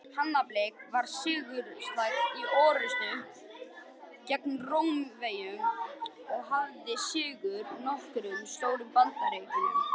Hannibal var sigursæll í orrustum gegn Rómverjum og hafði sigur í nokkrum stórum bardögum.